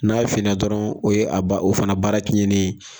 N'a ye fina dɔrɔn o ye a o fana baara tiɲɛnen ye.